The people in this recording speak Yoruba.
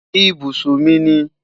Ibusun mi ni